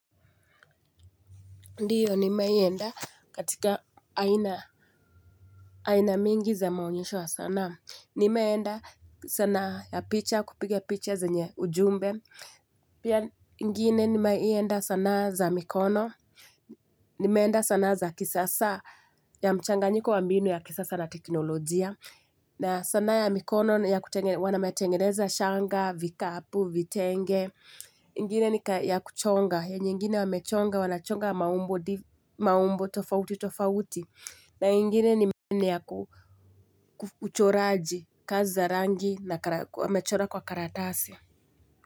Ndiyo nimewahi enda katika aina mingi za maonyesho ya sanaa. Nimeenda sanaa ya picha, kupiga picha zenye ujumbe. Pia ingine nimewahi enda sanaa za mikono. Nimeenda sanaa za kisasa ya mchanganyiko wa mbinu ya kisasa na teknolojia. Na sanaa ya mikono, wametengeneza shanga, vikapu, vitenge. Ingine ni ya kuchonga, ya nyingine wamechonga, wanachonga maumbo tofauti tofauti. Na ingine ni ya uchoraji kazi za rangi na wamechora kwa karatasi.